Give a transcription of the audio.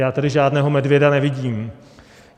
Já tady žádného medvěda nevidím.